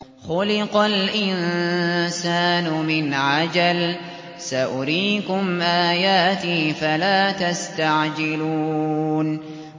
خُلِقَ الْإِنسَانُ مِنْ عَجَلٍ ۚ سَأُرِيكُمْ آيَاتِي فَلَا تَسْتَعْجِلُونِ